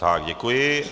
Tak děkuji.